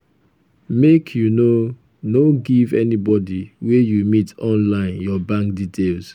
um make you no no um give anybodi wey you meet online your bank details.